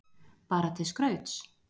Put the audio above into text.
Bara til skrauts?